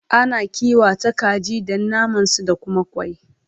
Ana kiwata kaji Dan naman su da Kuma kwai